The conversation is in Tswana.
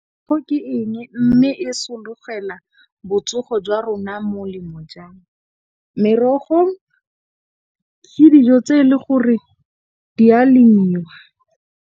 ke eng mme, e sologela botsogo jwa rona molemo ja? Merogo ke dijo tse e le gore di ya lemiwa.